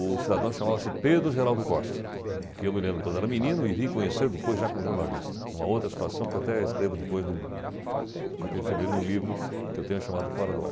O cidadão chamava-se Pedro Geraldo Costa, que eu me lembro quando era menino e vim conhecer depois já como jornalista, em uma outra situação que eu até escrevo depois no no livro que eu tenho chamado Fora do Ar.